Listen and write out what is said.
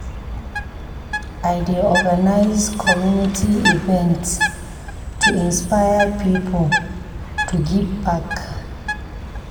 I dey organize community events to inspire pipo to give back.